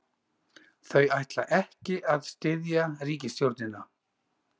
Þau ætla ekki að styðja ríkisstjórnina